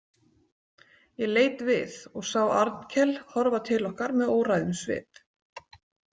Ég leit við og sá Arnkel horfa til okkar með óræðum svip.